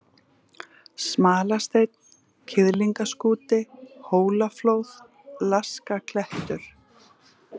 Smalasteinn, Kiðlingaskúti, Hólaflóð, Laskaklettur